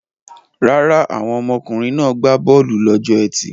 Rárá, àwọn ọkùnrin náà gbá bọ́ọ́lù lọ́jọ́ ẹtì.